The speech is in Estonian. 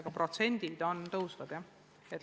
Aga sellekohased protsendid kasvavad tõepoolest.